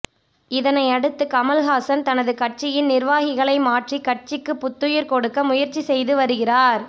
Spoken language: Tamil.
இதனை அடுத்து கமல்ஹாசன் தனது கட்சியின் நிர்வாகிகளை மாற்றி கட்சிக்கு புத்துயிர் கொடுக்க முயற்சி செய்து வருகிறார்